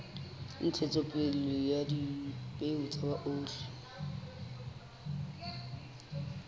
ntshetsopele ya dipeo tsa oli